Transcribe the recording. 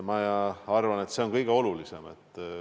Ma arvan, et see on kõige olulisem.